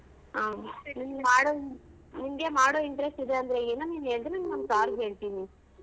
ಹಾ ನಿಂಗ್ ಮಾಡೋ ಇನ್ ನಿಂಗೆ ಮಾಡೋ interest ಇದೆ ಅಂದ್ರೆ ಹೇಳು ನಿನ್ ಹೆಸ್ರನ್ ನಮ್ sir ಗ್ ಹೇಳ್ತೀನಿ.